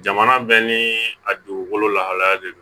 Jamana bɛɛ ni a dugukolo lahalaya de do